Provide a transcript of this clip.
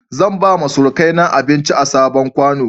Zan bawa surukaina abinci a sabon ƙwano.